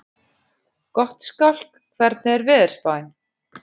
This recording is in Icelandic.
Gottskálk, hvernig er veðurspáin?